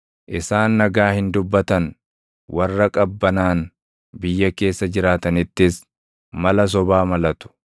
Isaan nagaa hin dubbatan; warra qabbanaan biyya keessa jiraatanittis, mala sobaa malatu.